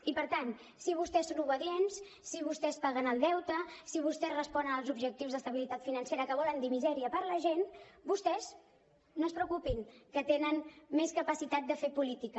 i per tant si vostès són obedients si vostès paguen el deute si vostès responen als objectius d’estabilitat financera que volen dir misèria per la gent vostès no es preocupin que tenen més capacitat de fer política